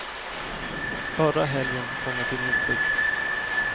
Förra helgen kom jag till insikt.